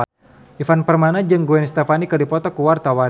Ivan Permana jeung Gwen Stefani keur dipoto ku wartawan